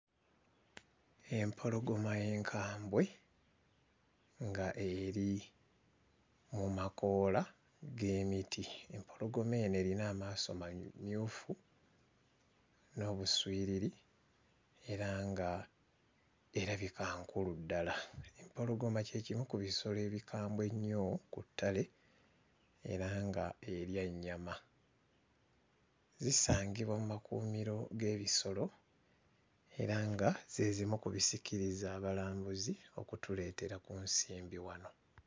Empologoma enkabwe nga eri mu makoola g'emiti. Empologoma eno erina amaaso mamyufu n'obuswiriri era ng'erabika nkulu ddala. Empologoma kye kimu ku bisolo ebikambwe ennyo ku ttale era ng'erya nnyama. Zisangibwa mu makuumiro g'ebisolo era nga ze zimu ku bisikiriza abalambuzi okutuleetera ku nsimbi wano.